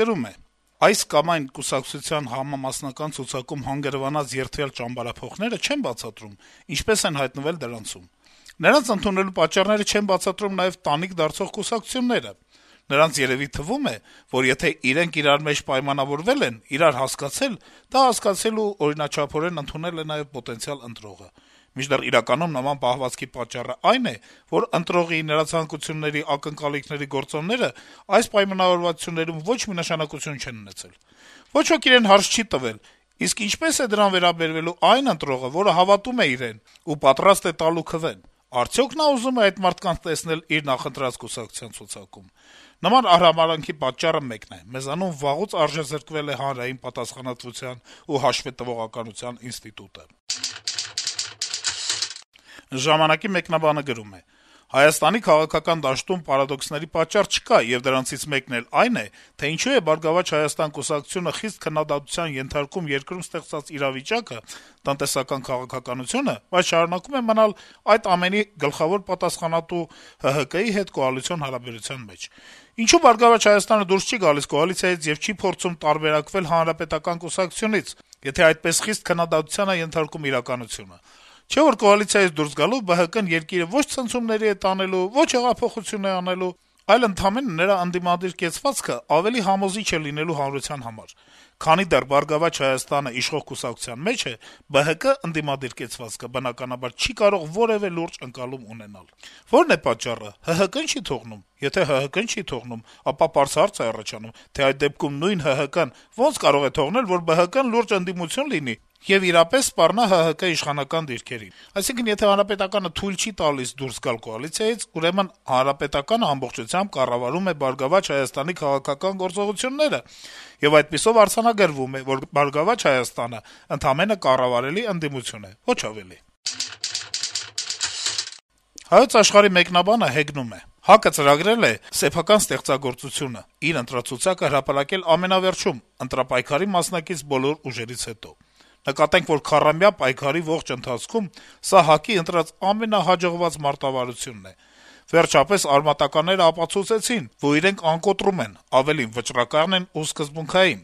գրում է. - «Այս կամ այն կուսակցության համամասնական ցուցակում հանգրվանած երդվյալ ճամբարափոխները չեն բացատրում` ինչպես են հայտնվել դրանցում։ Նրանց ընդունելու պատճառները չեն բացատրում նաեւ տանիք դարձող կուսակցությունները։ Նրանց երեւի թվում է, որ եթե իրենք իրար մեջ պայմանավորվել են, իրար հասկացել, դա հասկացել ու օրինաչափորեն ընդունել է նաեւ պոտենցիալ ընտրողը։ Մինչդեռ իրականում նման պահվածքի պատճառն այն է, որ ընտրողի, նրա ցանկությունների, ակնկալիքների գործոններն այդ պայմանավորվածություններում ոչ մի նշանակություն չեն ունեցել։ Ոչ ոք իրեն հարց չի տվել` իսկ ինչպե՞ս է դրան վերաբերվելու այն ընտրողը, որը հավատում է իրենց ու պատրաստ է տալու քվեն։ Արդյո՞ք նա ուզում է այդ մարդկանց տեսնել իր նախընտրած կուսակցության ցուցակում։ Նման արհամարհանքի պատճառը մեկն է. մեզանում վաղուց արժեզրկվել է հանրային պատասխանատվության ու հաշվետվողականության ինստիտուտը»: «Ժամանակ»-ի մեկնաբանը գրում է. - «Հայաստանի քաղաքական դաշտում պարադոքսների պակաս չկա, եւ դրանցից մեկն էլ այն է, թե ինչու է «Բարգավաճ Հայաստան» կուսակցությունը խիստ քննադատության ենթարկում երկրում ստեղծված իրավիճակը, տնտեսական քաղաքականությունը, բայց շարունակում է մնալ այդ ամենի գլխավոր պատասխանատու ՀՀԿ հետ կոալիցիոն հարաբերության մեջ: Ինչո՞ւ «Բարգավաճ Հայաստան»-ը դուրս չի գալիս կոալիցիայից եւ չի փորձում տարբերակվել Հանրապետական կուսակցությունից, եթե այդպես խիստ քննադատության է ենթարկում իրականությունը: Չէ՞ որ կոալիցիայից դուրս գալով, ԲՀԿ-ն երկիրը ո՛չ ցնցումների է տանելու, ո՛չ էլ հեղափոխություն է անելու, այլ ընդամենը նրա ընդդիմադիր կեցվածքը ավելի համոզիչ է լինելու հանրության համար: Քանի դեռ «Բարգավաճ Հայաստան»-ն իշխող կոալիցիայի մեջ է, ԲՀԿ ընդդիմադիր կեցվածքը, բնականաբար, չի կարող որեւէ լուրջ ընկալում ունենալ… Ո՞րն է պատճառը: ՀՀԿ-ն չի՞ թողնում: Եթե ՀՀԿ-ն չի թողնում, ապա պարզ հարց է առաջանում, թե այդ դեպքում նույն ՀՀԿ-ն ոնց կարող է թողնել, որ ԲՀԿ-ն լուրջ ընդդիմություն լինի եւ իրապես սպառնա ՀՀԿ իշխանական դիրքերին: Այսինքն` եթե ՀՀԿ-ն թույլ չի տալիս դուրս գալ կոալիցիայից, ուրեմն ՀՀԿ-ն ամբողջությամբ կառավարում է «Բարգավաճ Հայաստան»-ի քաղաքական գործողությունները, եւ այդպիսով արձանագրվում է, որ «Բարգավաճ Հայաստան»-ը ընդամենը կառավարելի ընդդիմություն է՝ ոչ ավելի»: «Հայոց Աշխարհ»-ի մեկնաբանը հեգնում է. - «ՀԱԿ-ը ծրագրել է սեփական ստեղծագործությունը հրապարակել ամենավերջում՝ ընտրապայքարի մասնակից բոլոր ուժերից հետո: Նկատենք, որ քառամյա պայքարի ողջ ընթացքում սա ՀԱԿ-ի ընտրած «ամենահաջողված» մարտավարությունն է: Վերջապես «արմատականներն» ապացուցեցին, որ իրենք «անկոտրում» են, ավելին` «վճռական են ու սկզբունքային»: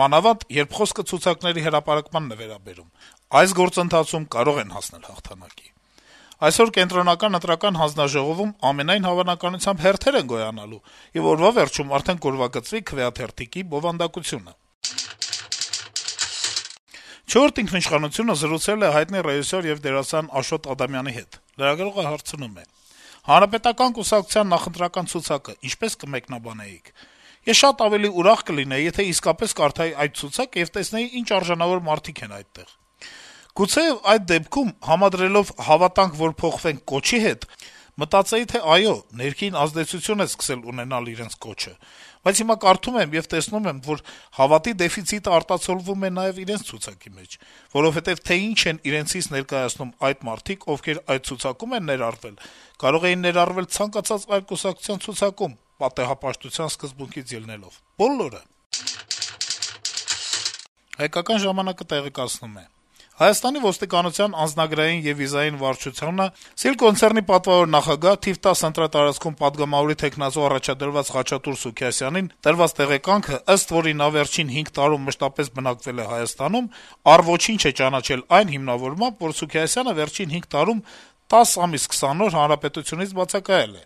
Մանավանդ երբ խոսքը ցուցակների հրապարակմանն է վերաբերում, այս գործընթացում կարող են հասնել հաղթանակի… Այսօր ԿԸՀ-ում ամենայն հավանականությամբ հերթեր են գոյանալու, եւ օրվա վերջում արդեն կուրվագծվի քվեաթերթիկի բովանդակությունը»: «Չորրորդ ինքնիշխանությունը»-ը զրուցել է հայտնի ռեժիսոր եւ դերասան Աշոտ Ադամյանի հետ: Լրագրողը հարցնում է. - «Հանրապետական կուսակցության նախընտրական ցուցակը ինչպե՞ս կմեկնաբանեիք»: «Ես շատ ավելի ուրախ կլինեի, եթե իսկապես կարդայի այդ ցուցակն ու տեսնեի ինչ արժանավոր մարդիկ են այդտեղ: Գուցեեւ այդ դեպքում, համադրելով «Հավատանք, որ փոխվենք» կոչի հետ, մտածեի, թե` այո, ներքին ազդեցություն է սկսել ունենալ իրենց կոչը: Բայց հիմա կարդում եմ եւ տեսնում եմ, որ հավատի դեֆիցիտը արտացոլվում է նաեւ իրենց ցուցակի մեջ: Որովհետեւ թե ինչ են իրենցից ներկայացնում այդ մարդիկ, ովքեր այդ ցուցակում են ներառվել, կարող էին ներառվել ցանկացած այլ կուսակցության ցուցակում` պատեհապաշտության սկզբունքից ելնելով: Բոլորը», - պատասխանել է Աշոտ Ադամյանը: «Հայկական ժամանակ»-ը տեղեկացնում է. - «Հայաստանի ոստիկանության անձնագրային եւ վիզաների վարչությունը «Սիլ կոնցեռն»-ի պատվավոր նախագահ, թիվ 10 ընտրատարածքում պատգամավորի թեկնածու առաջադրված Խաչատուր Սուքիասյանին տված տեղեկանքը, ըստ որի` նա վերջին հինգ տարում մշտապես բնակվել է Հայաստանում, առ ոչինչ է ճանաչել այն հիմնավորմամբ, որ Սուքիասյանը վերջին հինգ տարում 10 ամիս 20 օր հանրապետությունից բացակայել է: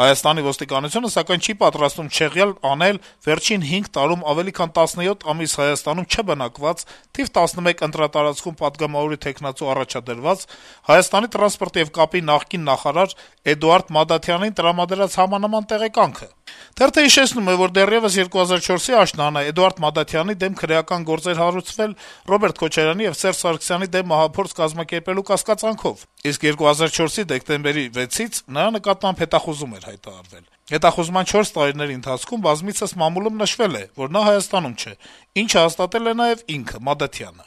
ՀՀ ոստիկանությունը, սակայն, չի պատրաստվում չեղյալ անել վերջին հինգ տարում ավելի քան 17 ամիս Հայաստանում չբնակված, թիվ 11 ընտրատարածքում պատգամավորի թեկնածու առաջադրված Հայաստանի տրանսպորտի եւ կապի նախկին նախարար Էդուարդ Մադաթյանին տրամադրած համանման տեղեկանքը»: Թերթը հիշեցնում է, որ դեռեւս 2004-ի աշնանը Մադաթյանի դեմ քրեական գործ էր հարուցվել` Ռոբերտ Քոչարյանի եւ Սերժ Սարգսյանի դեմ մահափորձ կազմակերպելու կասկածանքով: Իսկ 2004-ի դեկտեմբերի 6-ից նրա նկատմամբ հետախուզում էր հայտարարվել: Հետախուզման 4 տարիների ընթացքում բազմիցս մամուլում նշվել է, որ նա Հայաստանում չէ, ինչը հաստատել է նաեւ ինքը` Մադաթյանը: